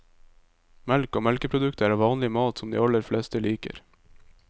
Melk og melkeprodukter er vanlig mat som de aller fleste liker.